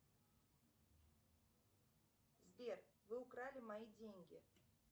сбер вы украли мои деньги